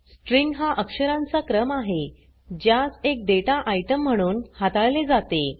string हा अक्षरांचा क्रम आहे ज्यास एक डेटा आइटम म्हणून हाताळले जाते